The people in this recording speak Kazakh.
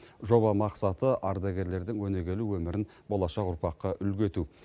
жоба мақсаты ардагерлердің өнегелі өмірін болашақ ұрпаққа үлгі ету